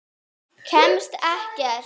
Kemst ekkert.